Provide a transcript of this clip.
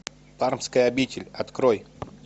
пармская обитель открой